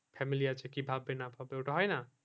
family আছে কি ভাববে না ভাববে ওটা হয় না